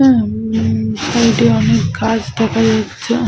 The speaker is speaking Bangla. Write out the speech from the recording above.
হুম-ম সাইড -এ অনেক গাছ দেখা যাচ্ছে ।